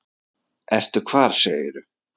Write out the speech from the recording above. Ertu hvar segirðu?